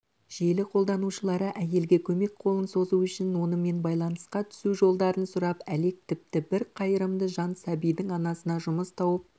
желі қолданушылары әйелге көмек қолын созу үшін онымен байланысқа түсу жолдарын сұрап әлек тіпті бір қайырымды жан сәбидің анасына жұмыс тауып